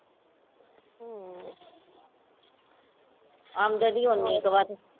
ਆਮਦਨੀ ਓਨੀ ਕ ਬਸ